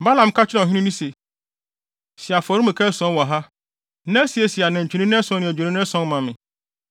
Balaam ka kyerɛɛ ɔhene no se, “Si afɔremuka ason wɔ ha, na siesie anantwinini ason ne adwennini ason ma me.”